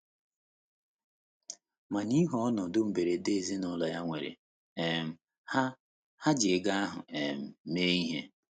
Ma n’ihi ọnọdụ mberede ezinụlọ ya nwere um, ha, ha ji ego ahụ um mee ihe.